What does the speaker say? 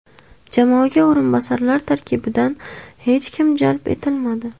Jamoaga o‘rinbosarlar tarkibidan hech kim jalb etilmadi.